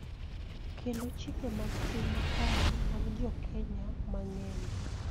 Kendo chike mag tim makare mag Jo-Kenya mang�eny.